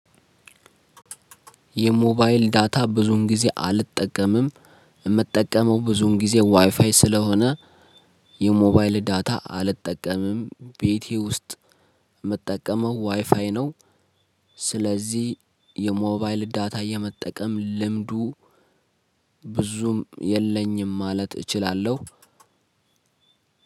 የሞባይል ዳታ ብዙን ጊዜ አልጠቀምም። የምጠቀመው ብዙን ጊዜ ዋይፋይ ስለሆነ። የሞባይል ዳታ አልጠቀምም ቤቴ ውስጥ የምጠቀመው ዋይፋይ ነው። ስለዚህ የሞባይል ዳታ የመጠቀም ልምዱ ብዙም የለኝም ማለት እችላለሁ።